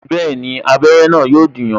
Bẹẹni, abere na yo dùn yan